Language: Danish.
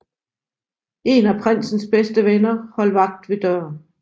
En af prinsens bedste venner holdt vagt ved døren